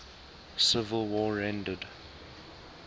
civil war rendered